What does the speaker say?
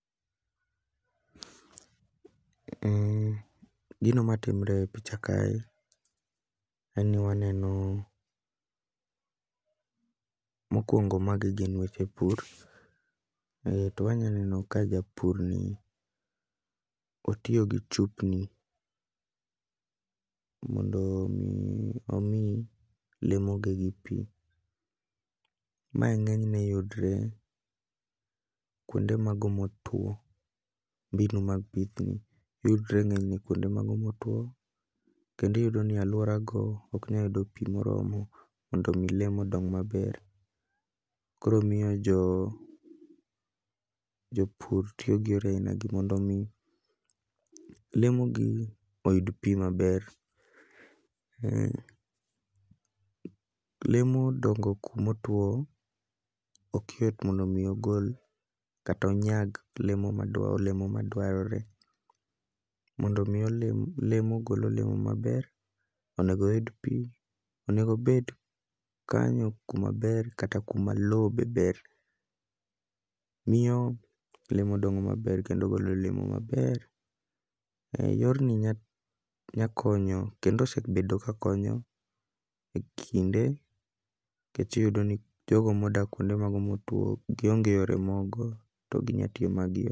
Gino matimre e picha kae, en ni waneno mokwongo magi gin weche pur. Ae to wanyaneno ka japur ni otiyo gi chupni mondo mi omi lemo gi gi pi. Mae ng'eny ne yudre kuonde mago motwo, mbinu mag pith ni yudre ng'enyne kuonde mago motwo. Kendi yudo ni alwora go oknya yudo pi moromo mondo mi lemo odong maber. Koro miyo jo jopur tiyo gi yore aina gi mondo mi lemo gi oyud pi maber. Lemo dongo kumo two ok yot mondo mi ogol kato onyag lemo madwa olemo ma dwarore. Mondo mi olemo lemo ogol olemo maber, onego oyud pi. Onego obed kanyo kuma ber kata kuma lo be ber, miyo lemo dongo maber kendo golo olemo maber. Yorni nya konyo kendo osebedo ka konyo e kinde, kech iyudo ni jogo modak e kinde motwo gionge yore moko to ginya tiyo magie.